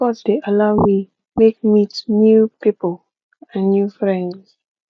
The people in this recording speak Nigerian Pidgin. sports de allow me make meet new pipo and new friends